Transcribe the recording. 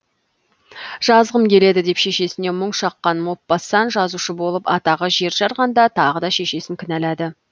жазғым келеді деп шешесіне мұң шаққан мопассан жазушы болып атағы жер жарғанда тағы да шешесін кінәлады